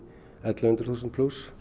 ellefu hundruð þúsund plús